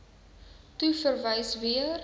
toe verwys weer